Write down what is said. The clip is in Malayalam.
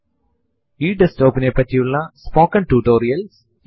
ഇവിടെ ഞാൻ എന്റെ സിസ്ടത്തിന്റെ നിലവിലുള്ള പാസ്സ്വേർഡ് ടൈപ്പ് ചെയ്യുന്നു